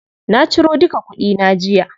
Na ciro duka kuɗi na jiya.